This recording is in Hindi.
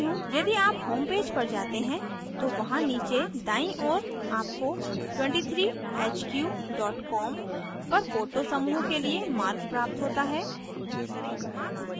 यदि आप होमपेज पर जाते हैं तो वहां नीचे दायीं ओर आपको 23hq com पर photo समूह के लिए मार्ग प्राप्त होता है